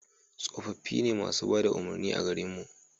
tsofaffi ne masu bada umarni a garin mu